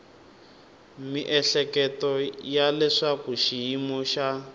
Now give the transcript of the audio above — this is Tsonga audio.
miehleketo ya leswaku xiyimo xa